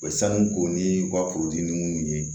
sanu k'o ni u ka furudimiw ye